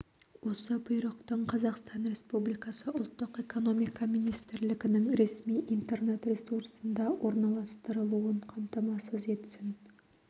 осы бұйрықтың қазақстан республикасы ұлттық экономика министрлігінің ресми интернет-ресурсында орналастырылуын қамтамасыз етсін